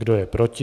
Kdo je proti?